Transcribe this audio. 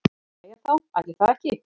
Jæja þá, ætli það ekki.